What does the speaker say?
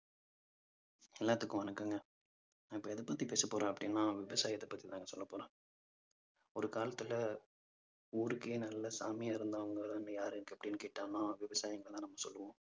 எல்லாத்துக்கும் வணக்கம்க. நான் இப்ப எதைப்பத்தி பேசப்போறேன் அப்பிடின்னா விவசாயத்தைப் பத்திதாங்க சொல்லப் போறேன். ஒரு காலத்துல ஊருக்கே நல்ல சாமியா இருந்தவங்கதான் யாரு அப்படின்னு கேட்டான்னா விவசாயிங்களைத்தான் நம்ம சொல்லுவோம்.